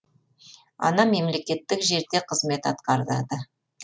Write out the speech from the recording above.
анам мемлекеттік жерде қызмет атқарады